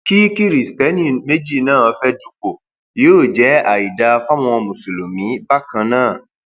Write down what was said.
kí kiristeni méjì náà fẹẹ dúpọ yóò jẹ àìdáa fáwọn mùsùlùmí bákan náà